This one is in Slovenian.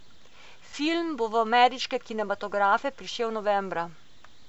Film bo v ameriške kinematografe prišel novembra.